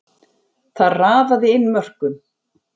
Þar raðaði inn mörkum.